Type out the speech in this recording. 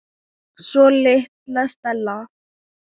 Svo litla Stella.